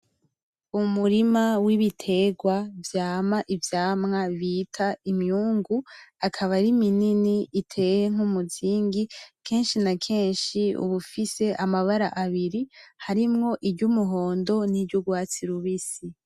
Umurima w'ibiterwa , vyama ivyamwa bita imyungu; akaba ari minini iteye nk'umuzingi, kenshi na kenshi ub'ifisi amabara abiri harimwo iry'umuhindo niry'urwatsi rubisi.